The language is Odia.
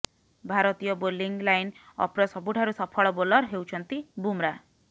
ଭାରତୀୟ ବୋଲିଂ ଲାଇନ୍ ଅପ୍ର ସବୁଠାରୁ ସଫଳ ବୋଲର ହେଉଛନ୍ତି ବୁମ୍ରା